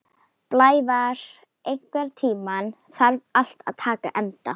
Blævar, einhvern tímann þarf allt að taka enda.